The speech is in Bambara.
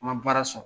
An ka baara sɔrɔ